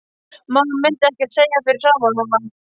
Mamma myndi ekkert segja fyrir framan hana.